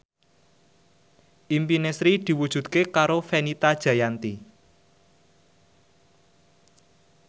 impine Sri diwujudke karo Fenita Jayanti